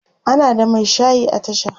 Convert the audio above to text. ana da Mai shayi a tasha